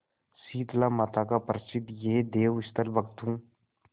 शीतलामाता का प्रसिद्ध यह देवस्थल भक्तों